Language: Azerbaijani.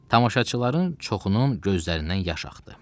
Tamaşaçıların çoxunun gözlərindən yaş axdı.